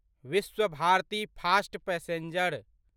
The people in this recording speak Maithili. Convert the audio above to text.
Vishwabharati fast passenger